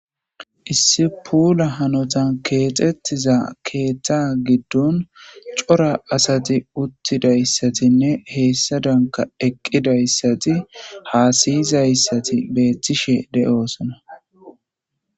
Issi pula hanota kexetido ketha gidon cora asati uttidaysatinne hesadanka eqidaysati hasayizaysati betishe de'osona